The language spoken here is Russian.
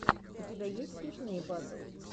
у тебя есть смешные батл